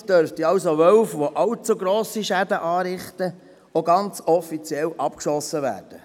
Damit dürften also Wölfe, die allzu grosse Schäden anrichten, auch ganz offiziell abgeschossen werden.